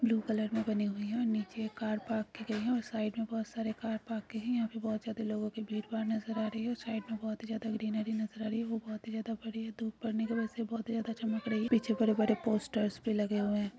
Blue colour में बनी हुई है और नीचे कार पार्क की गई है और साइड में बहुत सारे कार पार्क की है यहाँ पे बहुत ज्यादा लोगो की भीड़ भाड नज़र आ रही है और साइड में बहुत ही ज्यादा ग्रीनरी नज़र आ रही है और वो बहुत ज्यादा बड़ी है तो ऊपर धूप पड़ने की वजह से बहुत ही ज़्यादा चमक रही है पीछे बड़े बड़े पोस्टर भी लगे हुए है।